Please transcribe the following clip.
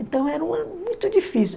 Então, era um ano muito difícil.